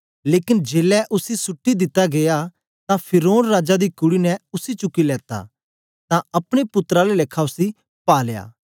लेकन जेलै उसी सुट्टी दित्ता गीया तां फिरौन राजा दी कुड़ी ने उसी चुकी लेत्ता तां अपने पुत्तर आला लेखा उसी पालया